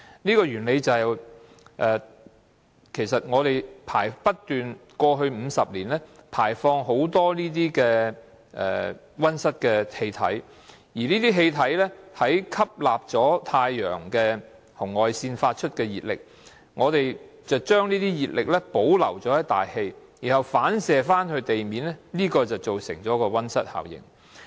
過去50年，全球不斷排放很多溫室氣體，而這些氣體吸納了太陽紅外線發出的熱力，將這些熱力保留在大氣層，然後反射到地面，這便造成溫室效應。